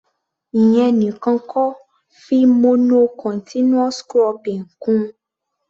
Ìyẹn nìkan kọ́, fi mono continuous cropping kún-un.